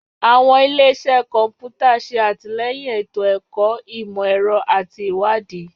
Àwọn ile-iṣẹ kọnputa ṣe atilẹyin eto-ẹkọ imọ-ẹrọ ati iwadii.